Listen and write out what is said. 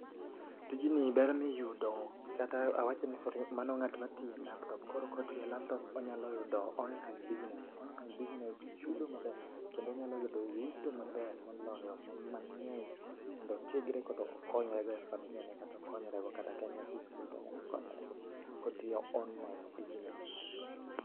Tijni ber miyudo kata awach ni mano ngat matiyo e laptop koro kotiuyo e laptop onyalo yudo online business. Online business chudo maber kendo onyalo yudo yuto maber moloyo mangeny mondo otiegre koda okonyre go e familia ne kata okonyre go kata ka en nyathi skul tonyalo konyore go kotiyo online business